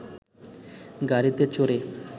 গাড়িতে চড়ে